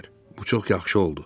Bu çox yaxşı oldu.